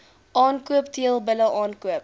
aankoop teelbulle aankoop